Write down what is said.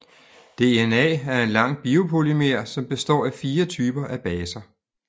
DNA er en lang biopolymer som består af fire typer af baser